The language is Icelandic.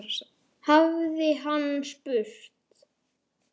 hafði hann spurt.